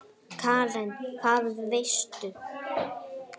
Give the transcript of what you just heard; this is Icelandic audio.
Karen: Hvað veistu?